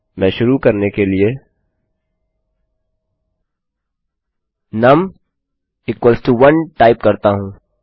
मैं शुरू करने के लिए नुम 1 टाइप करता हूँ